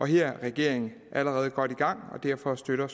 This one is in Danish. her er regeringen allerede godt i gang og derfor støtter